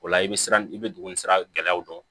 O la i bɛ siran i bɛ duguni sira gɛlɛyaw dɔn